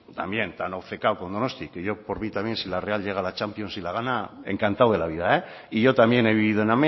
también tan obcecado con donosti que por mí también si la real llega a la champions y la gana encantado de la vida y yo también he vivido en